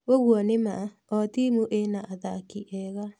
ũguo nĩ ma. O timu ĩna athaki ega.